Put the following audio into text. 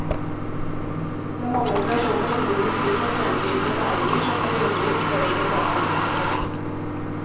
Det er mange operasjoner innen industrien og tjenesteytende næringer som periodevis krever spesialkompetanse.